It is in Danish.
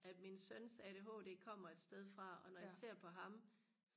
at min søns ADHD kommer et sted fra og når jeg ser på ham